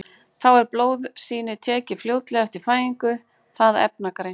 Þá er blóðsýni tekið fljótlega eftir fæðingu það efnagreint.